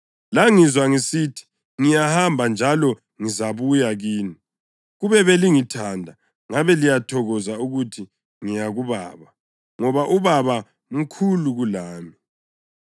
Langizwa ngisithi, ‘Ngiyahamba njalo ngizabuya kini.’ Kube belingithanda, ngabe liyathokoza ukuthi ngiya kuBaba, ngoba uBaba mkhulu kulami.